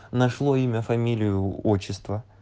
нашло имя фамилию отчество